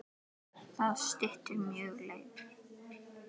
Það styttir mjög leiðir.